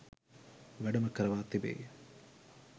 වැඩම කරවා තිබේ.